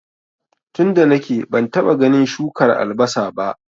tunda nake bantaba ganin shukar albasa ba